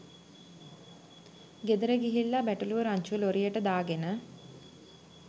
ගෙදර ගිහිල්ල බැටළුවො රංචුව ලොරියට දාගෙන